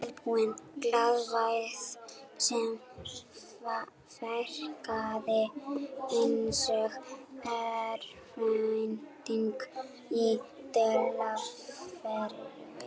Tilbúin glaðværð sem verkaði einsog örvænting í dulargervi.